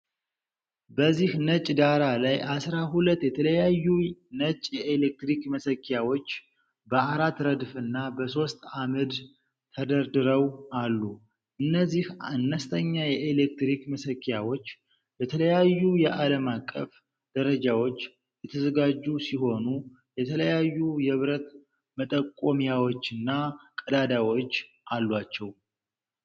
በዚህ ነጭ ዳራ ላይ አሥራ ሁለት የተለያዩ ነጭ የኤሌክትሪክ መሰኪያዎች በአራት ረድፍና በሦስት ዐምድ ተደርድረው አሉ። እነዚህ አነስተኛ የኤሌክትሪክ መሰኪያዎች ለተለያዩ የአለም አቀፍ ደረጃዎች የተዘጋጁ ሲሆኑ፣ የተለያዩ የብረት መጠቆሚያዎችና ቀዳዳዎች አሏቸው።